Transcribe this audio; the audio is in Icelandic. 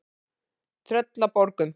Tröllaborgum